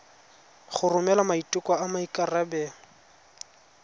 go romela maiteko a maikarebelo